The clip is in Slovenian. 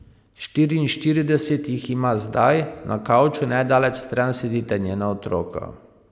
Štiriinštirideset jih ima zdaj, na kavču nedaleč stran sedita njena otroka.